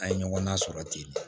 A' ye ɲɔgɔn na sɔrɔ ten